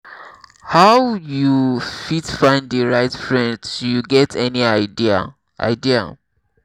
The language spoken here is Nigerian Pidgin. how you fit find di right friends you get any idea? idea?